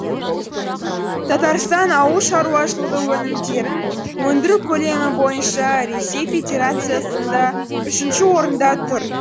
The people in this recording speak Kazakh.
татарстан ауыл шаруашылығы өнімдерін өндіру көлемі бойынша ресей федерациясында үшінші орында тұр